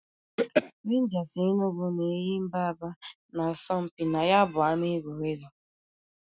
Renjas Enugu na Enyimba Aba na -asọ mpị na ya bu ama egwuregwu.